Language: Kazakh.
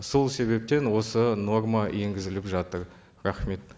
сол себептен осы норма енгізіліп жатыр рахмет